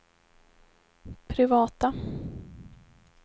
privata